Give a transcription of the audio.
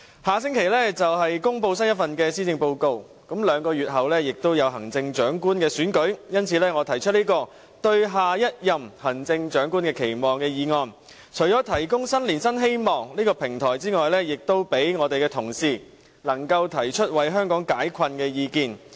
下星期便會公布新一份施政報告，兩個月後就是行政長官選舉，因此我提出這項"對下任行政長官的期望"的議案，除了為提供新年新希望這平台外，也希望讓同事提出為香港解困的意見。